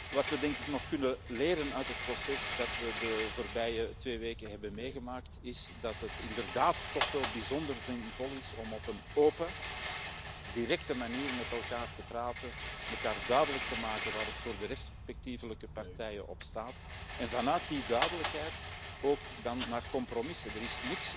Wat we, denk ik, nog kunnen leren uit het proces dat we de voorbije twee weken hebben meegemaakt, is dat het inderdaad toch wel bijzonder zinvol is om op een open, directe manier met elkaar te praten, elkaar duidelijk te maken waar het voor de respectievelijke partijen op staat, en vanuit die duidelijkheid vervolgens een compromis te bereiken.